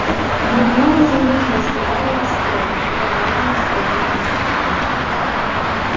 гермиона заметила что гарри расстроен и проворонила своего коня